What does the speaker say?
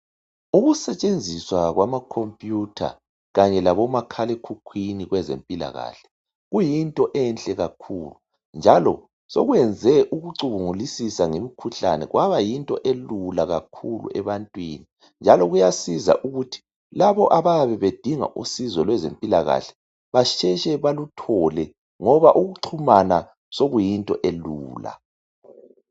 Ukusetshenziswa kwama computer kanye labo kwabomakhala ekhukhwini kwezempilakahle kuyinto enhlekakhulu njalo sokwenze ukucubungulisisa ngemikhuhlane kwabayinto elula kakhulu ebantwini njalo kuyasiza kulabo abayabedinga usizo beluthole ngoba ukuxumana sokuyinto elula.